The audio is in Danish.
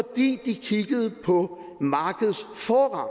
de kiggede på markedets forrang